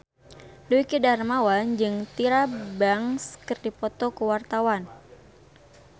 Dwiki Darmawan jeung Tyra Banks keur dipoto ku wartawan